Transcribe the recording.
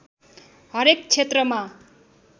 हरेक क्षेत्रमा